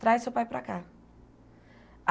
Traz seu pai para cá.